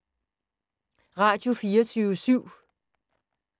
Radio24syv